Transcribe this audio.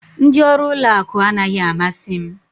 Ndị ọrụ ụlọ akụ anaghị amasị m